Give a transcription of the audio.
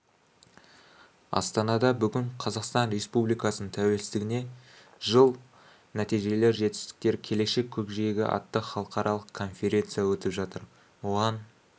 астанада бүгін қазақстан республикасының тәуелсіздігіне жыл нәтижелер жетістіктер келешек көкжиегі атты халықаралық конференция өтіп жатыр оған